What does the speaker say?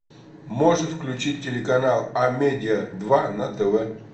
можешь включить телеканал амедиа два на тв